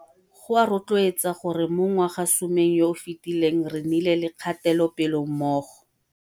Go a rotloetsa gore mo ngwagasomeng yo o fetileng re nnile le kgatelopele mo go